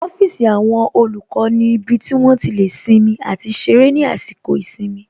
Ọ́fíìsì àwọn olùkọ́ ni ibi tí wón ti lè sinmi àti ṣeré ní àsìkò ìsinmi